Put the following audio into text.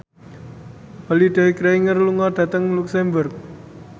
Holliday Grainger lunga dhateng luxemburg